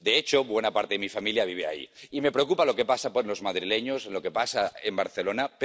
De hecho, buena parte de mi familia vive allí y me preocupa lo que pasa con los madrileños, lo que pasa en Barcelona...